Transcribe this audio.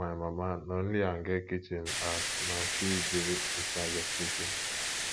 my mama na only am get kitchen as na she dey incharge of cooking